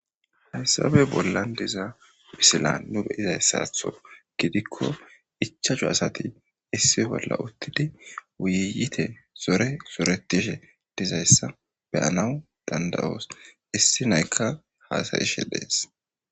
hayssabe bollan diza bisila nu beyizay ssaatho gidikko ichahu asati issi bolla uttidi wuyiyite zore soretishe dizayssa beyanaw dandawoos issi naykka haasayishe dees